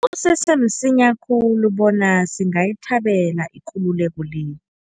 Kusese msinya khulu bona singayithabela ikululeko le.